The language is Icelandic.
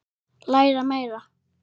Læra meira?